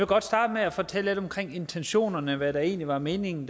godt starte med at fortælle lidt om intentionerne med der egentlig var meningen